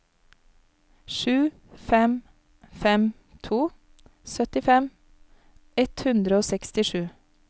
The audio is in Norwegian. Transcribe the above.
sju fem fem to syttifem ett hundre og sekstisju